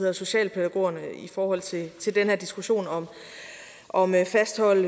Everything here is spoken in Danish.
og socialpædagogerne i forhold til til den her diskussion om at fastholde